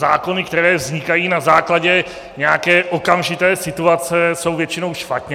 Zákony, které vznikají na základě nějaké okamžité situace, jsou většinou špatně.